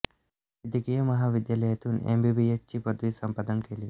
वैद्यकीय महाविद्यालयातून M B B S ची पदवी संपादन केली